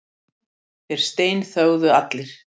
Þeir steinþögðu allir.